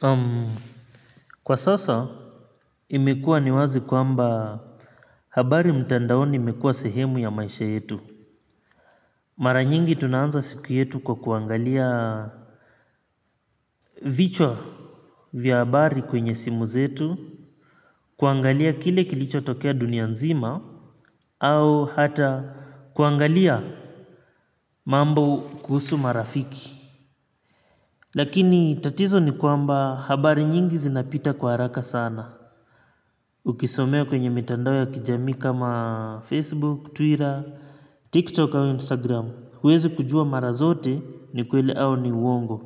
Hmm kwa sasa imekua ni wazi kwamba habari mtandaoni imekuwa sehemu ya maisha yetu. Mara nyingi tunaanza siku yetu kwa kuangalia Vichwa Vya habari kwenye simu zetu. Kuangalia kile kilichotokea dunia nzima. Au hata kuangalia mambo kuhusu marafiki. Lakini tatizo ni kwamba habari nyingi zinapita kwa haraka sana. Ukisomea kwenye mitandao ya kijami kama Facebook, Twitter, TikTok au Instagram huwezi kujua mara zote ni kweli au ni uongo.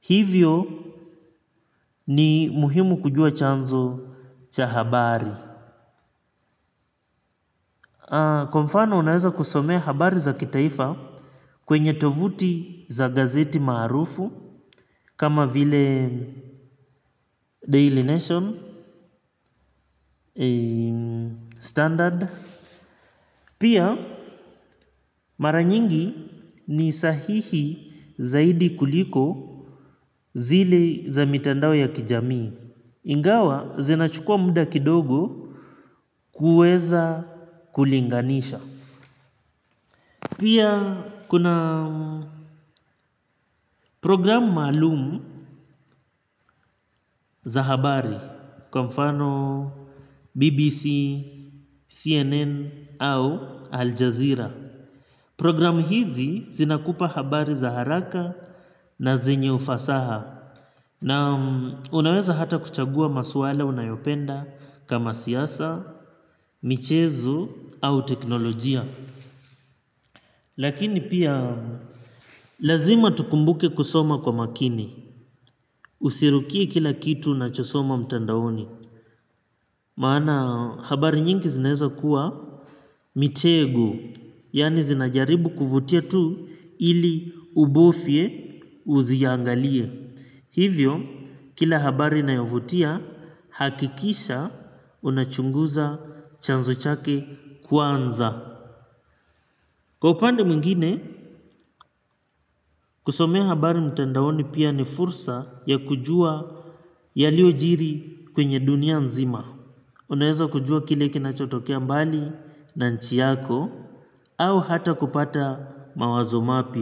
Hivyo ni muhimu kujua chanzo cha habari. Kwa mfano unaweza kusomea habari za kitaifa kwenye tovuti za gazeti maarufu kama vile Daily Nation, Standard. Pia mara nyingi ni sahihi zaidi kuliko zile za mitandao ya kijamii. Ingawa zinachukua muda kidogo kuweza kulinganisha. Pia kuna programu maalumu za habari kwa mfano BBC, CNN au Aljazeera. Programu hizi zinakupa habari za haraka na zenye ufasaha na unaweza hata kuchagua maswala unayopenda kama siasa, michezo au teknolojia. Lakini pia lazima tukumbuke kusoma kwa makini, usirukie kila kitu unachosoma mtandaoni. Maana habari nyingi zineza kuwa mitego, yaani zinajaribu kuvutia tu ili ubofye uziangalie. Hivyo, kila habari inayovutia, hakikisha unachunguza chanzo chake kwanza. Kwa upande mwingine, kusomea habari mtandaoni pia ni fursa ya kujua yaliyojiri kwenye dunia nzima. Unaweza kujua kile kinachotokea mbali na nchi yako au hata kupata mawazo mapya.